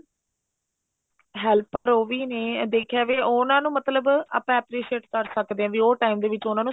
helper ਉਹ ਵੀ ਨੇ ਦੇਖਿਆ ਜਾਵੇ ਉਹਨਾ ਨੂੰ ਮਤਲਬ ਆਪਾਂ appreciate ਕਰ ਸਕਦੇ ਆ ਵੀ ਉਹ time ਦੇ ਵਿੱਚ ਉਹਨਾ ਨੂੰ